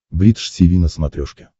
бридж тиви на смотрешке